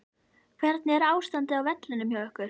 Hvernig er ástandið á vellinum hjá ykkur?